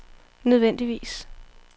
nødvendigvis